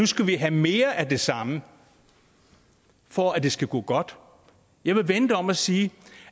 skal have mere af det samme for at det skal gå godt jeg vil vende det om og sige